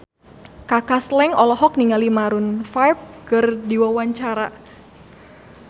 Kaka Slank olohok ningali Maroon 5 keur diwawancara